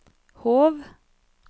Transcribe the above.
Hov